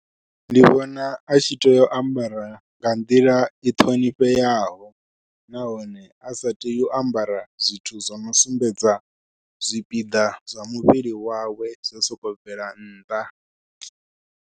Ndi vhona a tshi tea u ambara nga nḓila i ṱhonifheaho nahone a sa tei u ambara zwithu zwo no sumbedza zwipiḓa zwa muvhili wawe zwo sokou bvela nnḓa.